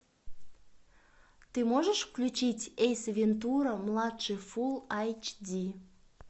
ты можешь включить эйс вентура младший фул эйч ди